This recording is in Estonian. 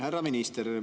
Härra minister!